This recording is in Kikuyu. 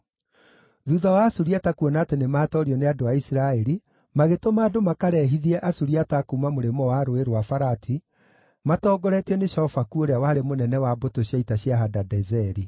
Thuutha wa Asuriata kuona atĩ nĩmatoorio nĩ andũ a Isiraeli, magĩtũma andũ makarehithie Asuriata a kuuma mũrĩmo wa Rũũĩ rwa Farati matongoretio nĩ Shofaku ũrĩa warĩ mũnene wa mbũtũ cia ita cia Hadadezeri.